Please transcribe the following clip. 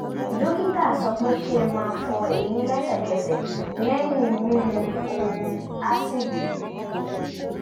dókítà sọ pé kí n má fọ eyín lẹ́sẹ̀kẹsẹ̀ lẹ́yìn mímu ohun ásíìdì